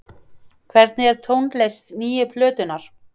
Hvernig er tónlist nýju plötunnar?